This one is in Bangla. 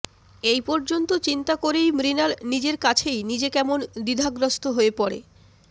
এই পর্যন্ত চিন্তা করেই মৃণাল নিজের কাছেই নিজে কেমন দ্বিধাগ্রস্ত হয়ে পড়ে